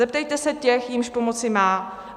Zeptejte se těch, jimž pomoci má.